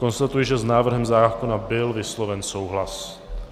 Konstatuji, že s návrhem zákona byl vysloven souhlas.